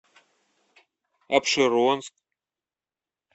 апшеронск